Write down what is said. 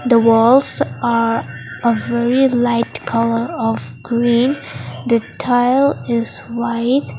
the walls are of very light colour of green the tile is white.